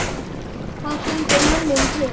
Hvað gengur mönnum til?